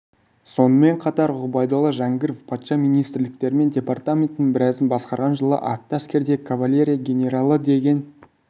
сонымен қатар ғұбайдолла жәңгіров патша министрліктері мен департаментінің біразын басқарған жылы атты әскердегі кавалерия генералы деген